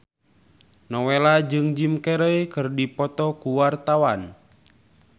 Nowela jeung Jim Carey keur dipoto ku wartawan